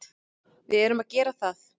Við erum að gera það.